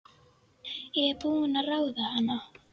Ég er búin að ráða hana!